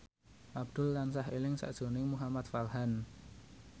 Abdul tansah eling sakjroning Muhamad Farhan